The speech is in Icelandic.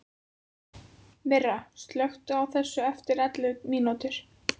Myrra, slökktu á þessu eftir ellefu mínútur.